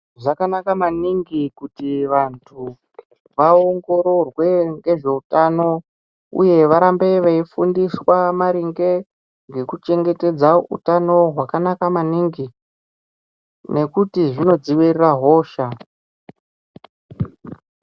Zvakanaka maningi kuti vantu vaongororwe nezvehutano uye varambe veifundiswa maringe nekuchengetedza hutano hwakanaka maningi nekuti zvinodziwiririra hosha.